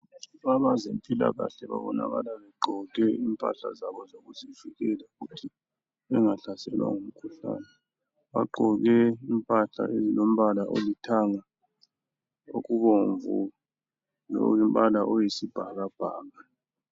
Abezempilakahle babonakala begqoke impahla zabo zokuzivikela ukuthi bengahlaselwa ngumkhuhlane Bagqagqoke impahla ezilombala olithanga okubomvu lokulombala oyisibhakabhaka